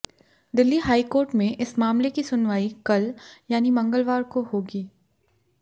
Delhi high court में इस मामले की सुनवाई कल यानी मंगलवार को होगी